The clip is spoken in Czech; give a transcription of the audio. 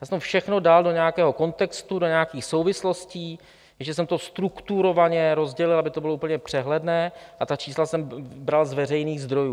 Já jsem to všechno dal do nějakého kontextu, do nějakých souvislostí, ještě jsem to strukturovaně rozdělil, aby to bylo úplně přehledné, a ta čísla jsem bral z veřejných zdrojů.